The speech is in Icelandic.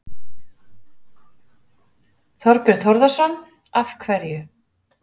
Þorbjörn Þórðarson: Af hverju?